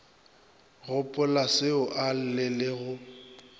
gopolaseo a lle le go